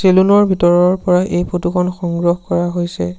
Salon ৰ ভিতৰৰ পৰা এই ফটো খন সংগ্ৰহ কৰা হৈছে।